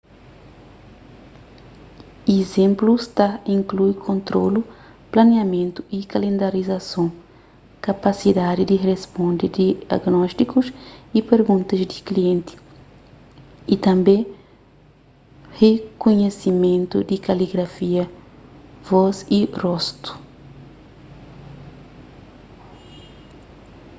izénplus ta inklui kontrolu planiamentu y kalendarizason kapasidadi di risponde diagnótikus y perguntas di klienti y tanbê rikunhisimentu di kaligrafia vós y rostu